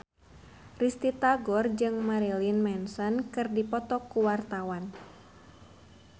Risty Tagor jeung Marilyn Manson keur dipoto ku wartawan